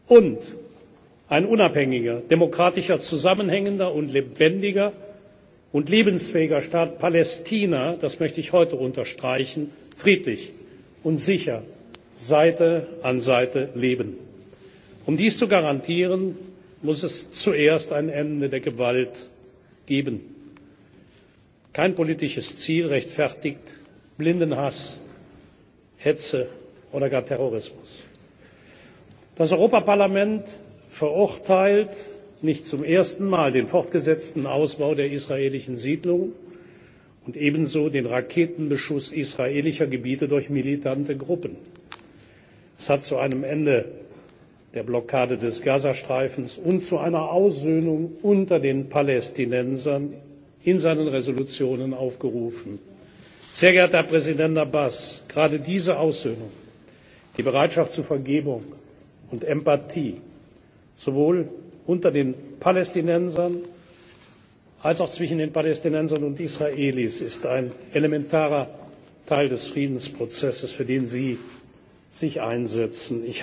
unterstrichen und ein unabhängiger, demokratischer, zusammenhängender und lebendiger und lebensfähiger Staat Palästina das möchte ich heute unterstreichen friedlich und sicher Seite an Seite leben. Um dies zu garantieren, muss es zuerst ein Ende der Gewalt geben. Kein politisches Ziel rechtfertigt blinden Hass, Hetze oder gar Terrorismus. Das Europäische Parlament verurteilt nicht zum ersten Mal den fortgesetzten Ausbau der israelischen Siedlungen und ebenso den Raketenbeschuss israelischer Gebiete durch militante Gruppen. Es hat in seinen Entschließungen zu einem Ende der Blockade des Gazastreifens und zu einer Aussöhnung unter den Palästinensern aufgerufen. Sehr geehrter Herr Präsident Abbas! Gerade diese Aussöhnung die Bereitschaft zur Vergebung und Empathie sowohl unter den Palästinensern als auch zwischen den Palästinensern und den Israelis ist ein elementarer Teil des Friedensprozesses, für den Sie